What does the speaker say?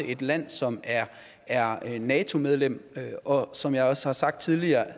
et land som er nato medlem og som jeg også har sagt tidligere